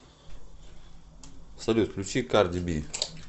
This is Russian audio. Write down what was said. салют включи карди би